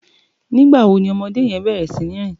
Nigbá wó ni òmòdé yèn bèrè sini rin?